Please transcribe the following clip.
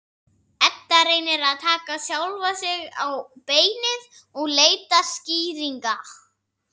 Edda reynir að taka sjálfa sig á beinið og leita skýringa.